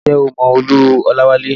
Ǹjẹ́ o mọ Olú Olawale?